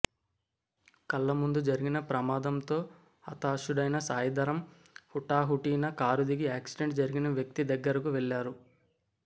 కళ్ల ముందు జరిగిన ప్రమాదంతో హతాశుడైన సాయి ధరమ్ హుటాహుటిన కారు దిగి యాక్సిడెంట్ జరిగిన వ్యక్తి దగ్గరకు వెళ్లారు